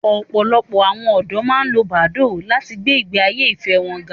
Ọ̀pọ̀lọpọ̀ àwọn ọ̀dọ́ máa ń lo Badoo láti gbé ìgbé ayé ìfẹ́ wọn ga